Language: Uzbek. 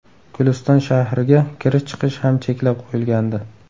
Guliston shahriga kirish-chiqish ham cheklab qo‘yilgandi .